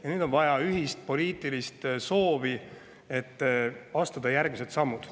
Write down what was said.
Ja nüüd on vaja ühist poliitilist soovi, et astuda järgmised sammud.